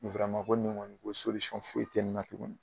ko nin ŋɔni ko foyi te nin na tuguni.